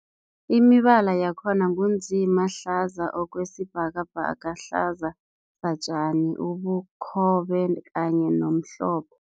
Imibala yakhona ngu nzima, hlaza okwesibhakabhaka, hlaza satjani, ubukhobe kanye nomhlophe.